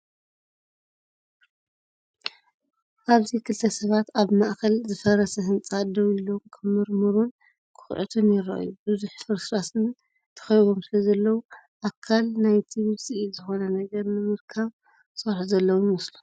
ኣብዚ ክልተ ሰባት ኣብ ማእከል ዝፈረሰ ህንጻ ደው ኢሎም ክምርምሩን ክኹዕቱን ይረኣዩ። ብብዙሕ ፍርስራስን ተኸቢቦም ስለዘለዉ፡ ኣካል ናይቲ ውጽኢት ዝኾነ ነገር ንምርካብ ዝሰርሑ ዘለዉ ይመስሉ።